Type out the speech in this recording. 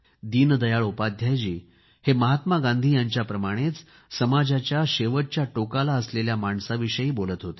दीनदयाळ उपाध्यायजी हे महात्मा गांधी यांच्याप्रमाणेच समाजाच्या शेवटच्या टोकाला असलेल्या माणसाविषयी बोलत होते